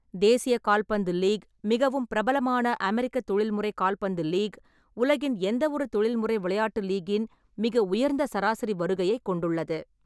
தேசிய கால்பந்து லீக், மிகவும் பிரபலமான அமெரிக்க தொழில்முறை கால்பந்து லீக், உலகின் எந்தவொரு தொழில்முறை விளையாட்டு லீக்கின் மிக உயர்ந்த சராசரி வருகையை கொண்டுள்ளது.